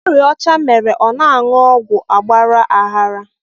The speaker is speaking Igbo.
Ọrịa ọcha mere ọ na anụ ọgwụ agbara aghara